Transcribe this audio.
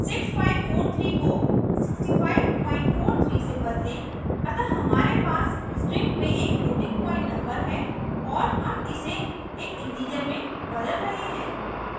6543 को 6543 बदलें अतः हमारे पास string में एक floating point number है और हम इसे एक integer में बदल रहे हैं